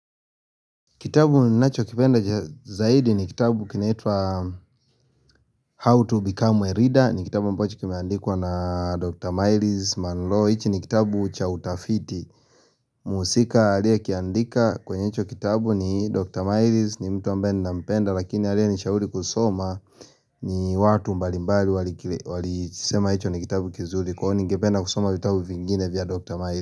Kitabu ninachokipenda zaidi ni kitabu kinaitwa How to Become a leader. Ni kitabu ambacho kimeandikwa na Dr. Myles Monroe. Hiki ni kitabu cha utafiti. Mhusika aliyokiandika kwenye hicho kitabu ni Dr. Myles ni mtu ambaye ninampenda. Lakini aliyenishauri kusoma ni watu mbalimbali walisema hicho ni kitabu kizuri. Kwani ningependa kusoma vitabu vingine vya Dr. Myles.